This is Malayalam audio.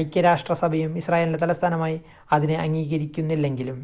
ഐക്യരാഷ്ട്രസഭയും ഇസ്രായേലിൻ്റെ തലസ്ഥാനമായി അതിനെ അംഗീകരിക്കുന്നില്ലെങ്കിലും